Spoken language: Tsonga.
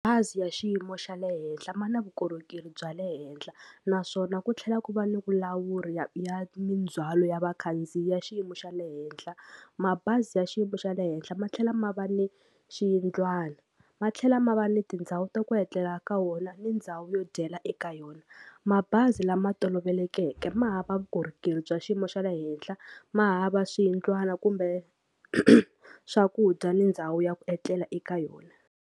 Bazi ra xiyimo xa le henhla ma na vukorhokeri bya le henhla naswona ku tlhela ku va ni vulawuri ya ya mindzwalo ya vakhandziyi ya xiyimo xa le henhla mabazi ya xiyimo xa le henhla ma tlhela ma va ni xiyindlwana ma tlhela ma va ni tindhawu ta ku etlela ka wona ni ndhawu yo dyela eka yona. Mabazi lama tolovelekeke ma hava vukorhokeri bya xiyimo xa le henhla ma hava swiyindlwana kumbe swakudya ni ndhawu ya ku etlela eka yona.